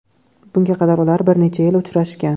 Bunga qadar ular bir necha yil uchrashgan.